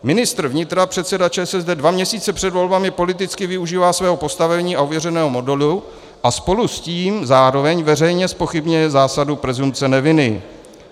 Ministr vnitra, předseda ČSSD, dva měsíce před volbami politicky využívá svého postavení a ověřeného modelu a spolu s tím zároveň veřejně zpochybňuje zásadu presumpce neviny.